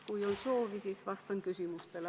Kui on soovi, siis vastan küsimustele.